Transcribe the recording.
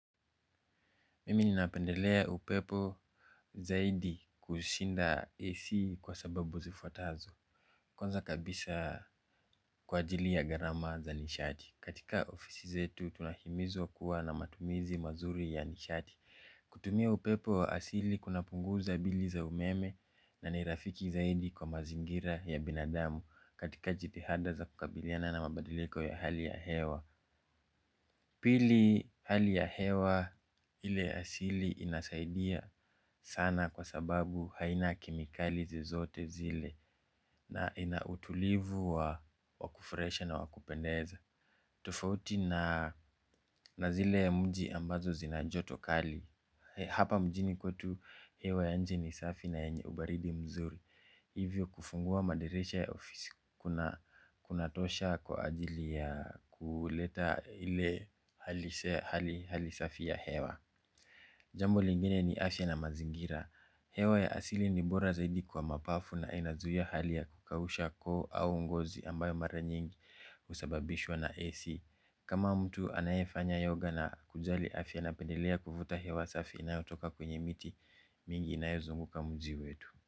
Mimi ninapendelea upepo zaidi kushinda AC kwa sababu zifuatazo. Kwanza kabisa kwa ajili ya gharama za nishati. Katika ofisi zetu tunahimizwa kuwa na matumizi mazuri ya nishati. Kutumia upepo wa asili kunapunguza bili za umeme na ni rafiki zaidi kwa mazingira ya binadamu katika jitihada za kukabiliana na mabadiliko ya hali ya hewa. Pili hali ya hewa ile ya asili inasaidia sana kwa sababu haina kemikali zozote zile na ina utulivu wa wakufurahisha na wakupendeza. Tofauti na zile ya mji ambazo zina joto kali hapa mjini kwetu, hewa ya nje ni safi na yenye ubaridi mzuri. Hivyo kufungua madirisha ya ofisi kuna kunatosha kwa ajili ya kuleta ile hali safi ya hewa. Jambo lingine ni afya na mazingira. Hewa ya asili ni bora zaidi kwa mapafu na inazua hali ya kukausha koo au ngozi ambayo mara nyingi husababishwa na AC. Kama mtu anayefanya yoga na kujali afya, napendelea kuvuta hewa safi na inayotoka kwenye miti mingi inayozunguka mji wetu.